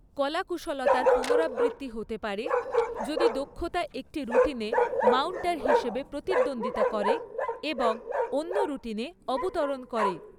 কলাকুশলতার পুনরাবৃত্তি হতে পারে যদি দক্ষতা একটি রুটিনে মাউন্টার হিসাবে প্রতিদ্বন্দ্বিতা করে এবং অন্য রুটিনে অবতরন করে।